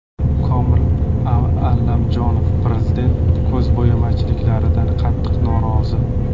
Komil Allamjonov: Prezident ko‘zbo‘yamachiliklardan qattiq norozi.